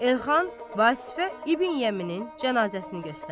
Elxan Vasifə İbn Yəminin cənazəsini göstərir.